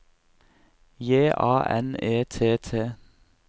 J A N E T T